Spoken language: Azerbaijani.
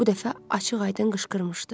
Bu dəfə açıq-aydın qışqırmışdı.